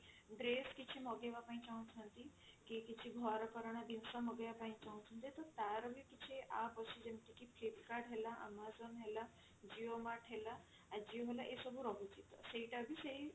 dress କିଛି ମଗେଇବା ପାଇଁ ଚାହୁଁଛନ୍ତି କି କିଛି ଘର କରଣ ଜିନିଷ ମଗେଇବା ପାଇଁ ଚାହୁଁଛନ୍ତି ତ ତାର ବି କିଛି app ଯେମିତି କି flipkart ହେଲା amazon ହେଲା JioMart ହେଲା ଏ ସବୁ ରହୁଛି ସେଇଟା ବି ସେଇ